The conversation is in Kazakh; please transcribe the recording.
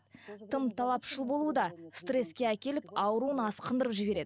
тым талапшыл болу да стресске әкеліп ауруын асқындырып жібереді